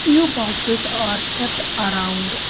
few boxes are kept around--